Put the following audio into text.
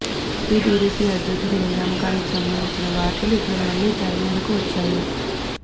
AP TDP అధ్యక్షుడి నియామకానికి సంబంధించిన వార్తలు ఇప్పుడు మళ్లీ తెర మీదకు వచ్చాయి